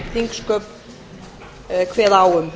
þingsköp kveða á um